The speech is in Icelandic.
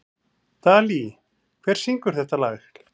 Dalí, hver syngur þetta lag?